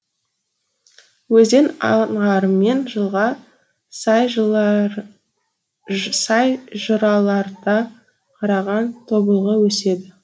өзен аңғарымен жылға сай жыраларда қараған тобылғы өседі